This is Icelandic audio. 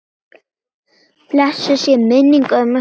Blessuð sé minning ömmu Fríðu.